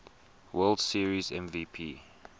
world series mvp